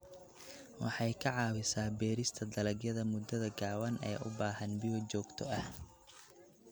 Waxay ka caawisaa beerista dalagyada muddada gaaban ee u baahan biyo joogto ah.